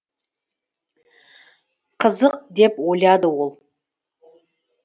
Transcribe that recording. қызық деп ойлады ол